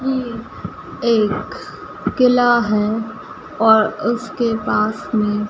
ये एक किला हैं और उसके पास में--